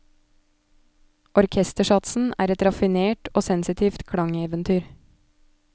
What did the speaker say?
Orkestersatsen er et raffinert og sensitivt klangeventyr.